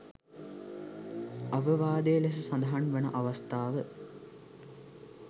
අවවාදය ලෙස සඳහන් වන අවස්ථාව.